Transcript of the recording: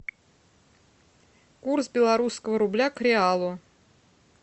курс белорусского рубля к реалу